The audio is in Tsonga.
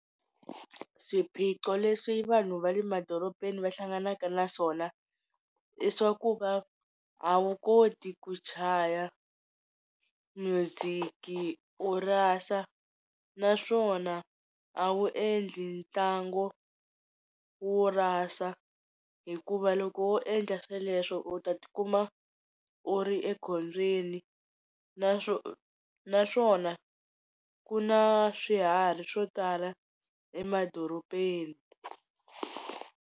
Swiphiqo leswi vanhu va le madoropeni va hlanganaka na swona i swa ku va a wu koti ku chaya music-i u rasa naswona a wu endli ntlangu wo rasa hikuva loko wo endla sweleswo u ta tikuma u ri ekhombyeni na naswona ku na swiharhi swo tala emadorobeni.